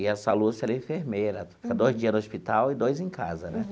E essa Lúcia era enfermeira, tinha dois dias no hospital e dois em casa né.